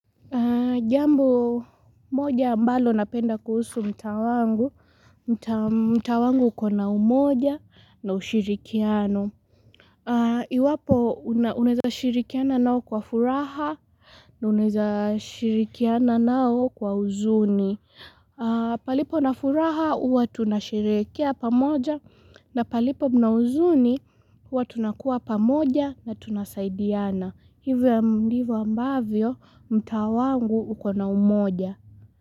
Jambo moja mbalo napenda kuhusu mtaa wangu, mtaa wangu ukona umoja na ushirikiano. Iwapo unaeza shirikiana nao kwa furaha, unaeza shirikiana nao kwa huzuni. Palipo na furaha uwa tunasherehekea pamoja na palipo na huzuni huwa tunakuwa pamoja na tunasaidiana. Hivyo ya ndivyo ambavyo mtaa wangu ukona umoja.